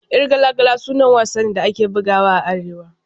Yar gala gala sanannen wasa ne da ake bugawa a Arewa.